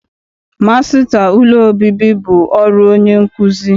Masịta ụlọ obibi bụ ọrụ onye nkuzi.